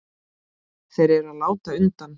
Þeir eru að láta undan.